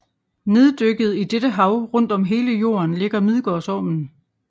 Neddykket i dette hav rundt om hele Jorden ligger Midgårdsormen